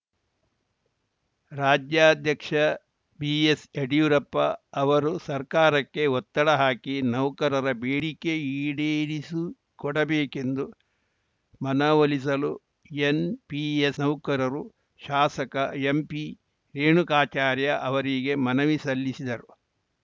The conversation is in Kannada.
ರಾಜ್ಯಾಧ್ಯಕ್ಷ ಬಿಎಸ್‌ ಯಡಿಯೂರಪ್ಪ ಅವರು ಸರ್ಕಾರಕ್ಕೆ ಒತ್ತಡ ಹಾಕಿ ನೌಕರರ ಬೇಡಿಕೆ ಈಡೇರಿಸಿಕೊಡಬೇಕೆಂದು ಮನವೊಲಿಸಲು ಎನ್‌ಪಿಎಸ್‌ ನೌಕರರು ಶಾಸಕ ಎಂಪಿ ರೇಣುಕಾಚಾರ್ಯ ಅವರಿಗೆ ಮನವಿ ಸಲ್ಲಿಸಿದರು